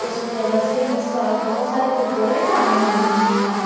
उसमें रस्सी में सब बहुत सारे कुरकुरे टांगे हुए हैं।